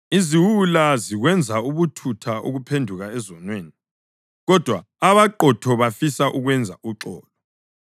Iziwula zikwenza ubuthutha ukuphenduka ezonweni, kodwa abaqotho bafisa ukwenza uxolo.